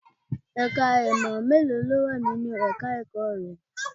Ẹ̀ka ìmọ̀ mélòó ló wà ní ẹ̀ka ẹ̀kọ́ rẹ?